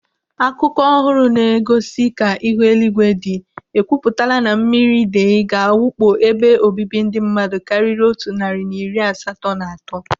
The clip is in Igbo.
Akụkọ ọhụrụ na-egosi ka ihu eluigwe dị ekwupụtala na mmiri idei ga-awakpo ebe obibi ndị mmadụ karịrị otu narị na iri asatọ na atọ.